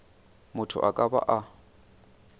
motho a ka ba a